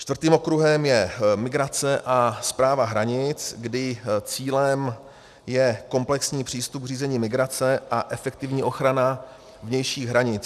Čtvrtým okruhem je migrace a správa hranic, kdy cílem je komplexní přístup k řízení migrace a efektivní ochrana vnějších hranic.